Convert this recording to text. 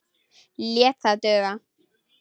Lét það duga.